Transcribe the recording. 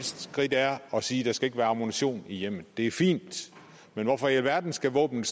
skridt er at sige at skal være ammunition i hjemmet det er fint men hvorfor i alverden skal våbnene